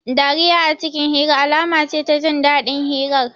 Dariya a cikin hira, alama ce ta jin dadin hirar